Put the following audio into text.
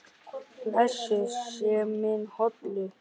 Blessuð sé minning Hollu.